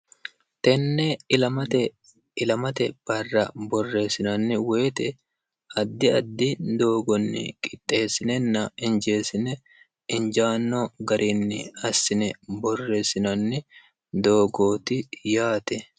tenne ilamate barra borreessinanni woyite addi addi doogonni qixxeessinenna injeessine injaanno gariinni assine borreessinanni doogooti yaate